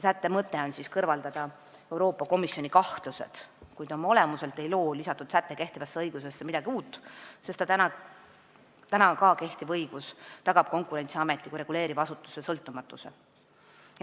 Sätte mõte on kõrvalda Euroopa Komisjoni kahtlused, kuid oma olemuselt ei loo lisatud säte kehtivasse õigusesse midagi uut, sest ka kehtiv õigus tagab Konkurentsiameti kui reguleeriva asutuse sõltumatuse.